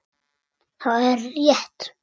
Það er rétt.